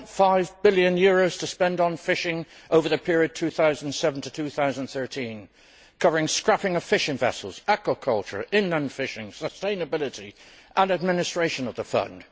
4.5 billion to spend on fishing over the period 2007 to 2013 covering scrapping of fishing vessels, aquaculture, inland fishing, sustainability and administration of the fund.